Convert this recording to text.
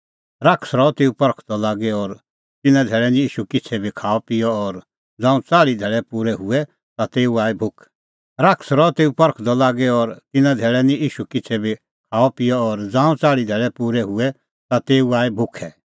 शैतान रहअ तेऊ परखदअ लागी और तिन्नां धैल़ै निं ईशू किछ़ै बी खाअपिअ और ज़ांऊं च़ाल़्ही धैल़ै पूरै हुऐ ता तेऊ आई भुखै